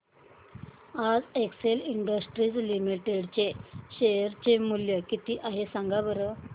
आज Excel Industries Limited चे share चे मूल्य किती आहे सांगा बरं